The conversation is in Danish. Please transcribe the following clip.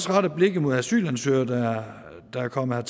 retter blikket mod asylansøgere der er kommet